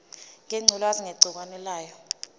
ngengculazi negciwane layo